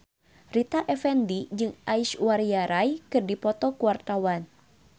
Rita Effendy jeung Aishwarya Rai keur dipoto ku wartawan